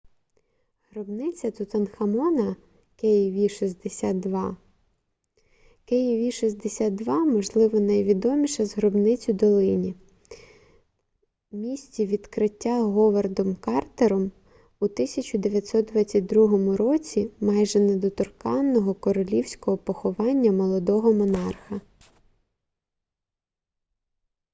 гробниця тутанхамона kv62. kv62 можливо найвідоміша з гробниць у долині місці відкриття говардом картером у 1922 році майже неторканого королівського поховання молодого монарха